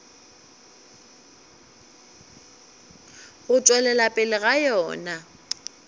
go tšwelela pele ga yona